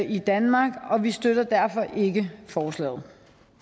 i danmark og vi støtter derfor ikke forslaget